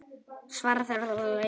Því svarar hver fyrir sig.